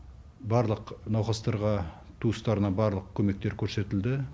барлық науқастарға туыстарына барлық көмектер көрсетілді